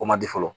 O man di fɔlɔ